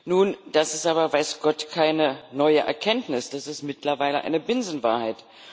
Nun, das ist aber weiß Gott keine neue Erkenntnis, das ist mittlerweile eine Binsenwahrheit.